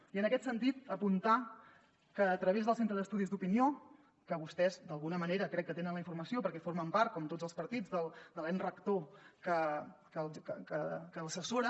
i en aquest sentit apuntar que a través del centre d’estudis d’opinió que vostès d’alguna manera crec que tenen la informació perquè formen part com tots els partits de l’ens rector que l’assessora